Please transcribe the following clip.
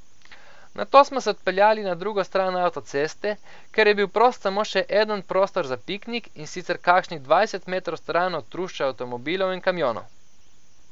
Nato smo se odpeljali na drugo stran avtoceste, kjer je bil prost samo še eden prostor za piknik, in sicer kakšnih dvajset metrov stran od trušča avtomobilov in kamionov.